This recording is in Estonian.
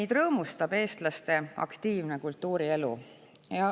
Meid rõõmustab eestlaste aktiivne kultuurielu.